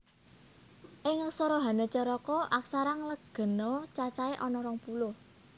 Ing aksara Hanacaraka aksara nglegena cacahé ana rong puluh